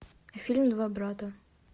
фильм два брата